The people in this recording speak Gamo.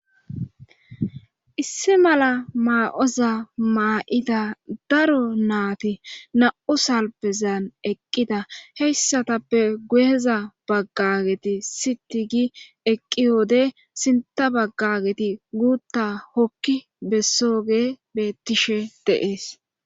issi mala maa7oza maa7ida daro naati na7u salbezan eqqida heyssatappe guyeza baggageti sitigi eqqi wode sinta baggageti guutta hokki bessooge beettishe deees